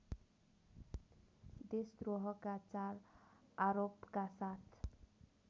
देशद्रोहका चार आरोपका साथ